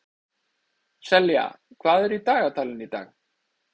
Selja, hvað er í dagatalinu í dag?